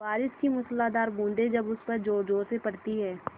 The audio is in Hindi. बारिश की मूसलाधार बूँदें जब उस पर ज़ोरज़ोर से पड़ती हैं